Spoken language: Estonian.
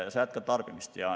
Sa jätkad tarbimist.